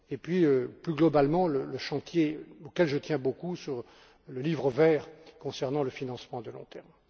puis, plus globalement, le chantier auquel je tiens beaucoup sur le livre vert concernant le financement à long terme.